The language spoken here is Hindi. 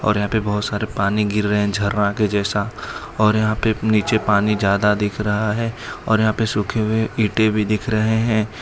और यहां पे बहोत सारे पानी गिर रहे हैं झरना के जैसा और यहां पे नीचे पानी ज्यादा दिख रहा है और यहां पे सूखे हुए ईटे भी दिख रहे हैं।